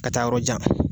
Ka taa yɔrɔ jan